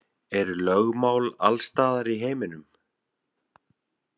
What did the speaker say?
Eru lögmál alls staðar í heiminum?